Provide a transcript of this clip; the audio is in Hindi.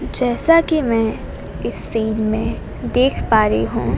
जैसा कि मैं इस सीन में देख पा रही हूं।